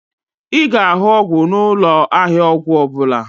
Ị ga-ahụ ọgwụ n'ụlọ ahịa ọgwụ ọbụla